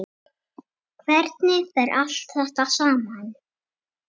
Hvernig fer þetta allt saman?